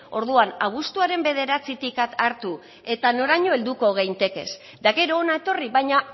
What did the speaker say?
orduan abuztuaren bederatzitik hartu eta noraino helduko geintekez eta gero hona etorri baina